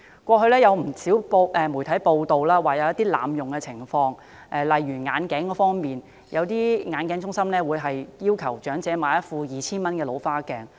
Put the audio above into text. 過去，不時有媒體報道濫用醫療券的情況，例如有些眼鏡中心會要求長者買一副 2,000 元的老花眼鏡。